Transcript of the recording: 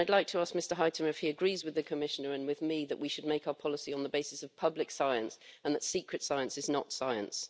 I would like to ask Mr Huitema if he agrees with the Commissioner and with me that we should make our policy on the basis of public science and that secret science is not science.